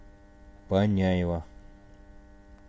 паняева